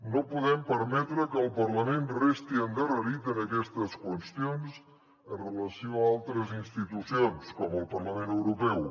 no podem permetre que el parlament resti endarrerit en aquestes qüestions amb relació a altres institucions com el parlament europeu